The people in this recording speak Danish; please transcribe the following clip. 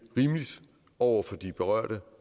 rimeligt over for de berørte